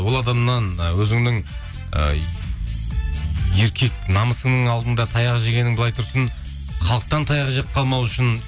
ол адамнан і өзіңнің і еркек намысыңның алдында таяқ жегенің былай тұрсын халықтан таяқ жеп қалмау үшін